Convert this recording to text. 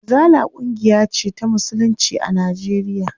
Izala ƙungiya ce ta musulunci a Najeriya.